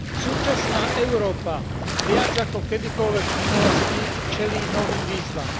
Súčasná Európa viac ako kedykoľvek v minulosti čelí novým výzvam.